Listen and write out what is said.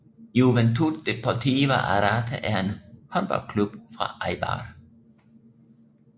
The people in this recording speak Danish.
Juventud Deportiva Arrate er en håndboldklub fra Eibar